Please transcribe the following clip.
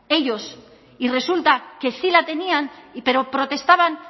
ellos y resulta que sí la tenían pero protestaban